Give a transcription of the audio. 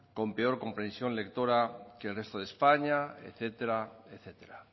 con peor comprensión lectora que el resto de españa etcétera etcétera